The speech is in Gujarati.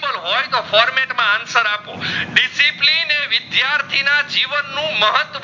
વિદ્યાર્થીઓ ના જીવન નું મહત્વ